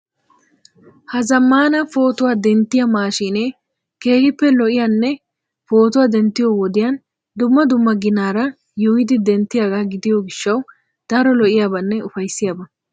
Ha zammaana pootuwa denttiya maashiinee keehippe lo"iyanne pootuwa denttiyo wodiyan dumma dumma ginaara yuuyyidi denttiyagaa gidiyo gishshawu daro lo"iyabanne ufayssiyaba.